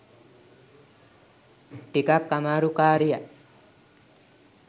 ටිකක් අමාරු කාරියක්.